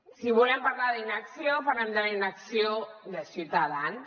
si volem parlar d’inacció parlem de la inacció de ciutadans